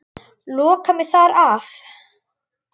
Loka mig þar af.